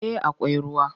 Eh akwai ruwa.